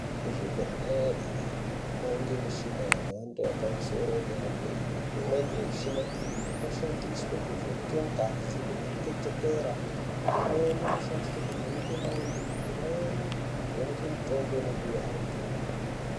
Kuzvibhedhlera kowanike muchina yemando yepamusoro ye dera dera imweni yemichina iyi inoshandiswe kuvheneke ngazi kuvheneke chukera imweni inoshandiswe kuvheneke ndxondo imweni kuvheneke mutombo inopiwe antu.